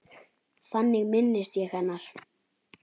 Þannig minnist ég hennar.